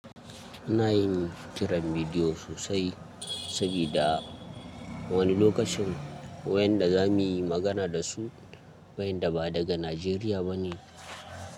Ana yin kiran bidiyo sosai, sabida wani lokacin wayanda za mu yi magana da su, wayanda ba daga Najeriya ba ne.